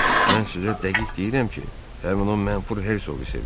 Mən sizə dəqiq deyirəm ki, həmin o mənfur Herzoqu sevir.